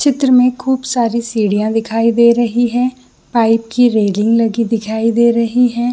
चित्र में खूब सारी सीड़ियां दिखाई दे रही है पाइप की रेलिंग लगी दिखाई दे रही है।